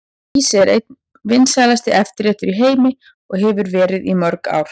Ís er einn vinsælasti eftirréttur í heimi og hefur verið í mörg ár.